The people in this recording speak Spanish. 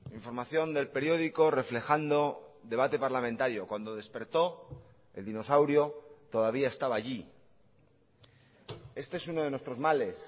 información del periódico reflejando debate parlamentario cuando despertó el dinosaurio todavía estaba allí este es uno de nuestros males